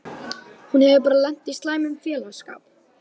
Hún hefur bara lent í slæmum félagsskap.